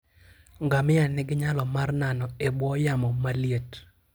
Ngamia nigi nyalo mar nano e bwo yamo maliet.